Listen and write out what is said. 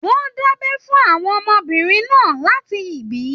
Wọn dabẹ fún àwọn ọmọbìnrin náà láti ibì.